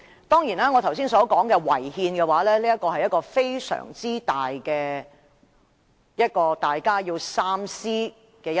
當然，我剛才所說的"違憲"，是非常重要及大家要三思的一點。